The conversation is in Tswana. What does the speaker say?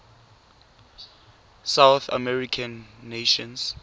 south american nations